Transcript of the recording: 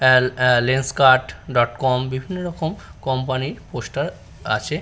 এ এ Lenskart dot com বিভিন্ন রকম কোম্পানি -র পোস্টার আছে ।